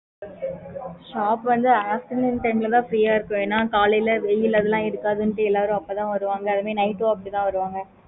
shop வந்து afternoon time ல தான் free அஹ் இருக்கும்